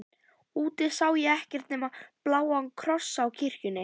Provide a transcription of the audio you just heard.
Úti sá ég ekkert nema bláa krossinn á kirkjunni.